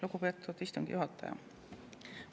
Lugupeetud istungi juhataja!